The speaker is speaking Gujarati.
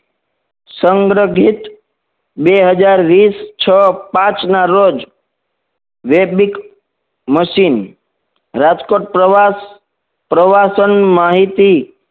સંગ્રહિત બે હજાર વીસ છ પાંચ ના રોજ વેગવિક machine રાજકોટ પ્રવાસ પ્રવાસન માહિત